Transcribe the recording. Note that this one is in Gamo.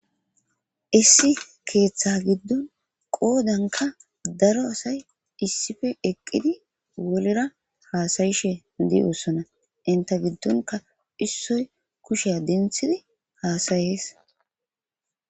Issi keeththa giddon qoodanKka daro asay issife eqqidi wolira haasayishe de7ossona. Ente giddonka issoy kushiya denthidi haasayees.